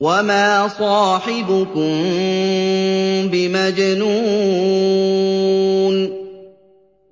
وَمَا صَاحِبُكُم بِمَجْنُونٍ